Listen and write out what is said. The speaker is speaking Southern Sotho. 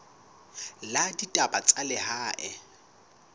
la ditaba tsa lehae hore